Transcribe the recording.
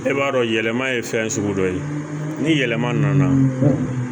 E b'a dɔn yɛlɛma ye fɛn sugu dɔ ye ni yɛlɛma nana